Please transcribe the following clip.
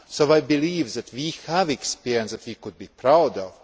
I believe that we have experience that we can be proud of.